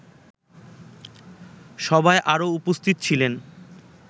সভায় আরো উপস্থিত ছিলেন